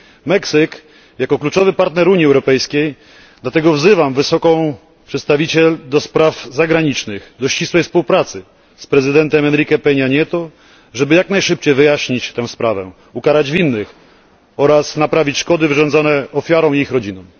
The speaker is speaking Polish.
Meksyk jest kluczowym partnerem Unii Europejskiej i dlatego wzywam wysoką przedstawiciel do spraw zagranicznych do ścisłej współpracy z prezydentem Enrique Peña Nieto, żeby jak najszybciej wyjaśnić tę sprawę, ukarać winnych oraz naprawić szkody wyrządzone ofiarom i ich rodzinom.